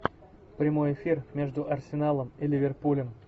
прямой эфир между арсеналом и ливерпулем